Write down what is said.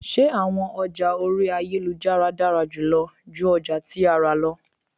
Ṣe awọn ọja ori ayelujara dara julọ ju ọja ti ara lọ?